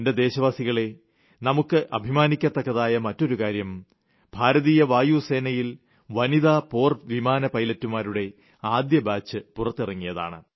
എന്റെ ദേശവാസികളെ നമുക്ക് അഭിമാനിക്കത്തക്കതായ മറ്റൊരു കാര്യം ഭാരതീയ വായു സേനയിൽ വനിതാ പോർ വിമാന പൈലറ്റുകളുടെ ആദ്യ ബാച്ച് പുറത്തിറങ്ങിയതാണ്